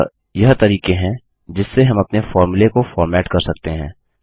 अतः यह तरीके हैं जिससे हम अपने फ़ॉर्मूले को फॉर्मेट कर सकते हैं